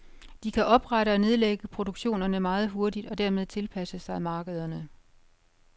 De kan oprette og nedlægge produktionerne meget hurtigt og dermed tilpasse sig markederne.